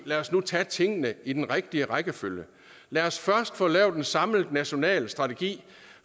lad os nu tage tingene i den rigtige rækkefølge lad os først få lavet en samlet national strategi